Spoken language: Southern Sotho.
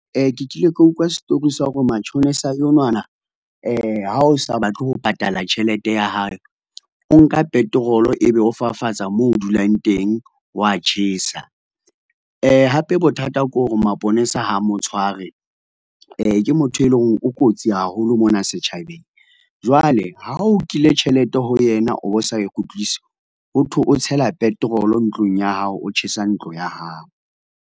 Ke kile ka utlwa story sa hore matjhonisa enwana, ha o sa batle ho patala tjhelete ya hae, o nka petrol ebe o fafatsa moo o dulang teng wa tjhesa. Hape bothata ke hore maponesa ha mo tshware. Ke motho e leng hore o kotsi haholo mona setjhabeng. Jwale ha o nkile tjhelete ho yena, o bo sa e kgutlise ho thwe o tshela petrol ntlong ya hao, o tjhesa ntlo ya hao.